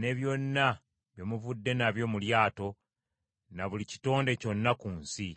ne byonna bye muvudde nabyo mu lyato, ne buli kitonde kyonna ku nsi.